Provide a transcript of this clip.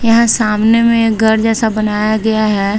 यहां सामने में एक घर जैसा बनाया गया है।